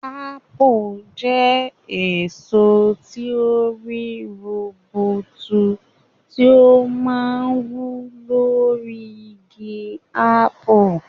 Ápù jẹ́ èso tí ó rí rubutu tí ó máa ń wù lórí igi ápù.